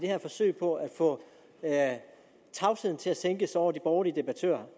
her forsøg på at få tavsheden til at sænke sig over de borgerlige debattører